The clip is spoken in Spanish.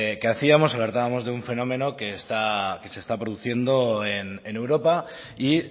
que hacíamos alertábamos de un fenómeno que se está produciendo en europa y